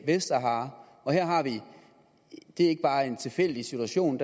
vestsahara det er ikke bare en tilfældig situation